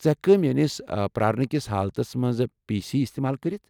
ژٕ ہیٚکكھ میٲنس پرارنہٕ كِس حالتس منٛز پی سی استعمال کٔرتھ ۔